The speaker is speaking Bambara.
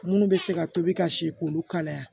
Munnu be se ka tobi ka se k'olu kalaya